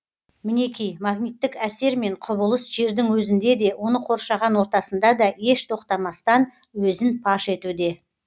мінеки магниттік әсер мен құбылыс жердің өзінде де оның қоршаған ортасында да еш тоқтамастан өзін паш етуде